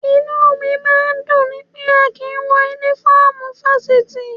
Inú mi máa ń dùn ni pé a kì í wọ Únífọ́ọ̀mù Fáṣítì